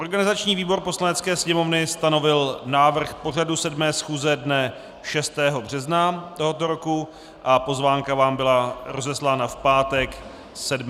Organizační výbor Poslanecké sněmovny stanovil návrh pořadu 7. schůze dne 6. března tohoto roku a pozvánka vám byla rozeslána v pátek 7. března.